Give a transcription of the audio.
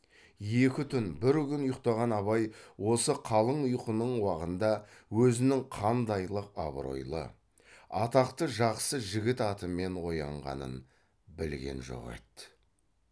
екі түн бір күн ұйықтаған абай осы қалың ұйқының уағында өзінің қандайлық абыройлы атақты жақсы жігіт атымен оянғанын білген жоқ еді